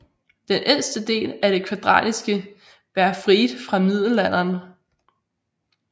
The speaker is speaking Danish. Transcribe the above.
Den ældste del er det kvadratiske Bergfried fra middelalderen